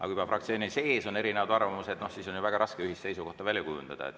Aga kui fraktsiooni sees on erinevad arvamused, siis on ju väga raske ühist seisukohta välja kujundada.